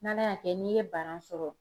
N'Ala y'a kɛ n'i ye bana sɔrɔ